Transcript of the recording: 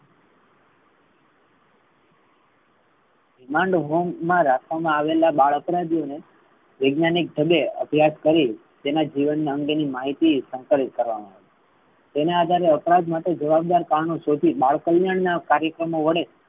Remand home મા રાખેલા આવેલા બાળ અપરાધીઓ ને વૈજ્ઞાનિક તબે અભ્યાસ કરી તેના અંગે ની માહિતી સંકલિત કરવામા આવે છે. તેને આધારે અપરાધ માટે જવાબદાર કારણો શોધી બાળ કલ્યાણ ના કાર્યક્રમો વડે